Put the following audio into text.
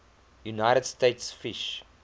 united states fish